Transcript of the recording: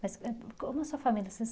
Mas como é a sua família? Vocês